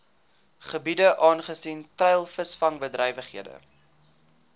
gebiede aangesien treilvisvangbedrywighede